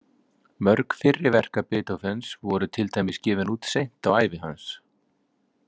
Mörg fyrri verka Beethovens voru til dæmis gefin út seint á ævi hans.